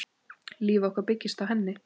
Líf okkar byggist á henni.